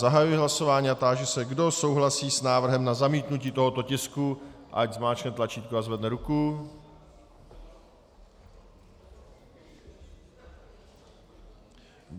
Zahajuji hlasování a táži se, kdo souhlasí s návrhem na zamítnutí tohoto tisku, ať zmáčkne tlačítko a zvedne ruku.